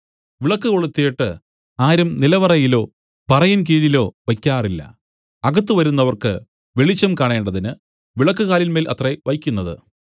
വിളക്കു കൊളുത്തീട്ട് ആരും നിലവറയിലോ പറയിൻ കീഴിലോ വെയ്ക്കാറില്ല അകത്ത് വരുന്നവർക്ക് വെളിച്ചം കാണേണ്ടതിന് വിളക്കുകാലിന്മേൽ അത്രേ വെയ്ക്കുന്നത്